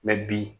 bi